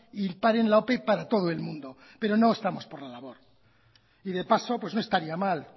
y paren la ope para todo el mundo pero no estamos por la labor y de paso no estaría mal